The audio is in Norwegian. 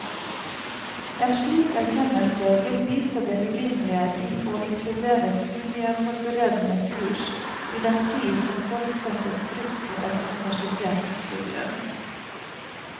En slik erkjennelse vil vise det urimelige i å inkludere studieforberedende kurs i den tid som forutsettes brukt på et universitetsstudium.